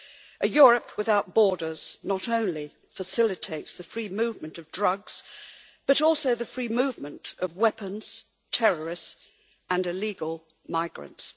A Europe without borders not only facilitates the free movement of drugs, but also the free movement of weapons, terrorists, and illegal migrants.